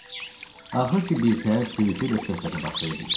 Axır ki birtəhər sürücü ilə söhbətə başlaya bildim.